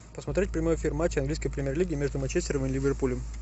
посмотреть прямой эфир матча английской премьер лиги между манчестером и ливерпулем